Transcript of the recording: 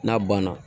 N'a banna